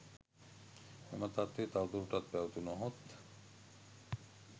මෙම තත්ත්වය තවදුරටත් පැවතුණහොත්